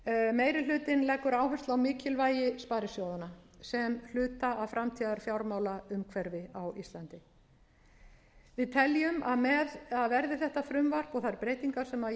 meiri hlutinn leggur áherslu á mikilvægi sparisjóðanna sem hluta af framtíðarfjármálaumhverfi á íslandi vi teljum að verði þetta frumvarp og þær breytingar sem ég hef mælt fyrir að lögum hafi verið vörðuð leið til að